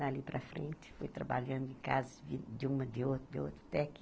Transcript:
Dali para frente, fui trabalhando em casa, de uma, de outra de outra, até que...